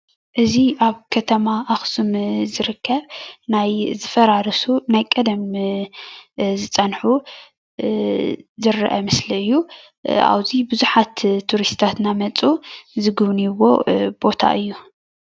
አዚ ኣብ ከተማ ኣኩሱም ዝርከብ ናይ ዝፈራረሱ ናይ ቀደም ዝጸንሑ ዝረኣ ምስሊ አዩ። ኣብዙይ ቡዙሓት ቱሪስትታት አናመጹ ዝግብንይዎ ቦታ አዩ።